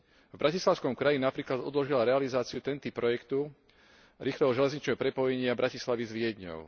V bratislavskom kraji napríklad odložila realizáciu Penty projektu, rýchleho železničného prepojenia Bratislavy s Viedňou.